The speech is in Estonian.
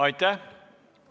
Aitäh!